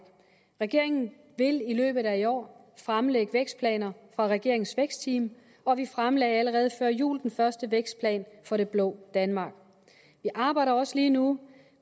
regeringen vil i løbet af i år fremlægge vækstplaner fra regeringens vækstteams og vi fremlagde allerede før jul den første vækstplan for det blå danmark vi arbejder også lige nu